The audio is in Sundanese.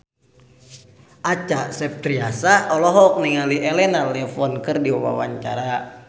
Acha Septriasa olohok ningali Elena Levon keur diwawancara